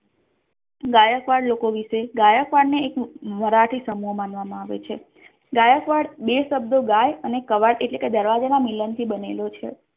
ગાયકવાડ લોકો વિશે ગાયકવાડ ને એક મરાઠી સંમોહઃ માનવામા આવે છે ગાયકવાડ બે શબ્દો ગાય અને કાવડ એટલે કે દરવાજા ના મિલાન થી બનેલો છે.